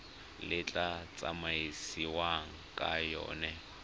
le tla tsamaisiwang ka yona